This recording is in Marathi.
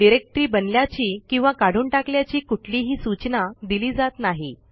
डिरेक्टरी बनल्याची किंवा काढून टाकल्याची कुठलीही सूचना दिली जात नाही